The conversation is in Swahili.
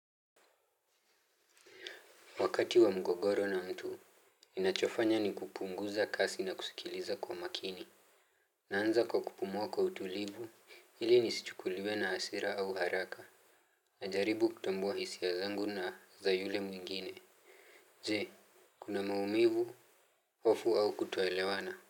Wakati wa mgogoro na mtu, ninachofanya ni kupunguza kasi na kusikiliza kwa makini. Naanza kwa kupumua kwa utulivu, ili nisichukuliwe na asira au haraka. Najaribu kutambua hisia zangu na za yule mwingine. Zii, kuna maumivu, hofu au kutoelewana.